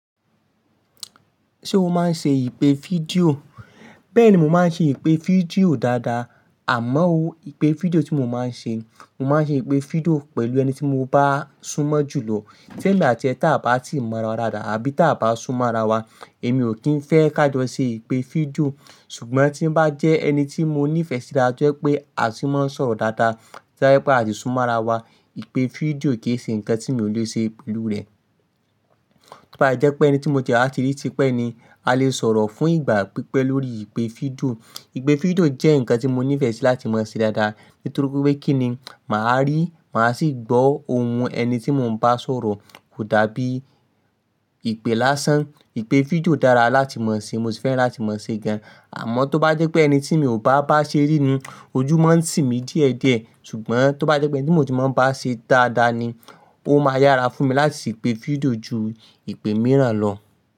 Ṣé o máa ń ṣe ìpè fídíò? Bẹ́ẹ̀ni, mo máa ń ṣe ìpè fídíò dáadáa. Àmọ́ ó, ìpè fídíò tí mo máa ń ṣe, mo máa ń ṣe ìpè fídíò pẹ̀lú ẹni tí mo bá súnmọ́ jù lọ. Témi àti ẹ́ ta bá ti mọ rawa dáadáa abí tá bá súnmọ́ ra wa, èmi ò kí ń fẹ́ ká jọ ṣe ìpè fídíò. Ṣùgbọ́n tí bá jẹ́ ẹni tí mo nífẹ̀ẹ́ sí dáadáa to jẹ pé a tì máa ń sọ̀rọ̀ dáadáa, tó jẹ́ pé a tí súnmọ́ ara wa, ìpè fídíò kì í ṣe nǹkan tí mi ò lè ṣe pẹ̀lú rẹ̀. Tó bá jẹ́ pé ẹni tí mo ti ẹ wà ti rí tipẹ̀ ni, a lè sọ̀rọ̀ fún ìgbà pípẹ́ lórí ìpè fídíò. Ìpè fídíò jẹ́ ǹkan tí mo nífẹ̀ẹ́ sí láti máa ṣe dáadáa nítorí pé kí ni, mà á rí, mà á sì gbọ́ ohùn ẹni tí mo ń bá sọ̀rọ̀ kódà bí ìpè lásán. Ìpè fídíò dára láti máa ṣe, mo sì fẹ́ràn láti máa ṣe gan. Àmọ́ tó bá jẹ́ pé ẹni tí mi ò bá bá ṣe rí ni, ojú máa ń tì mí díẹ̀ díẹ̀. Ṣùgbọ́n tó bá jẹ́ pé ẹni tí mo ti máa ń bá ṣe dáadáa ni, ó máa yára fún mi láti ṣe ìpè fídíò ju ìpè mìíràn lọ.